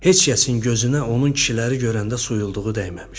Heç kəsin gözünə onun kişiləri görəndə suyluğu dəyməmişdi.